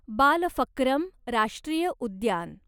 बालफक्रम राष्ट्रीय उद्यान